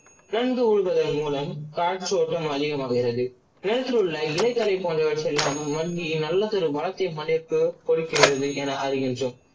நந்து உழுதலின் மூலம் காய்சோட்டம் அதிகமாகிறது. நிலத்திலுள்ள இலை தழை போன்றவர்ரெல்லாம் மண்ணில் நல்லதொரு கொடுக்கின்றது என அறிகின்றோம்.